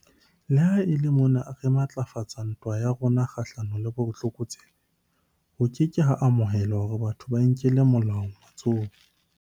Le ha e le mona re matlafatsa ntwa ya rona kgahlano le botlokotsebe, ho ke ke ha amoheleha hore batho ba inkele molao matsohong.